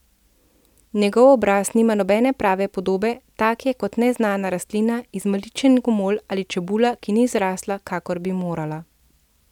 Njegov obraz nima nobene prave podobe, tak je kot neznana rastlina, izmaličen gomolj ali čebula, ki ni zrasla, kakor bi morala.